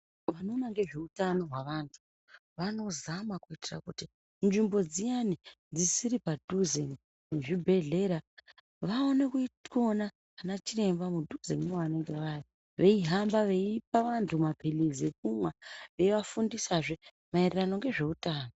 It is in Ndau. Vanoona ngezveutano hwevantu vanozama kuitira kuti nzvimbo dziyani dzisiri padhuze nezvibhedhlera vaone kuona ana chiremba mudhuze mevanenge vari, veihamba veipa vantu maphirizi ekumwa veiafundisahe maererano ngezveutano.